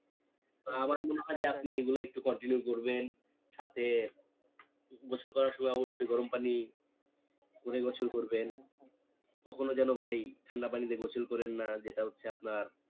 যে আমার মনে হয় যে আপনি এগুলো একটু continue করবেন সাথে গোসুল করার সময় অবশ্যই গরম পানি করে গোসুল করবেন কখনো যেন ভাই ঠান্ডা পানিতে গোসুল করেন না যেটা হচ্ছে আপনার